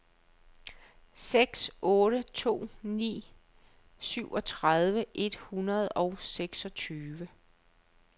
seks otte to ni syvogtredive et hundrede og seksogtyve